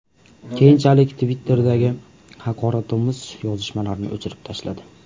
Keyinchalik Twitter’dagi haqoratomuz yozishmalarini o‘chirib tashladi.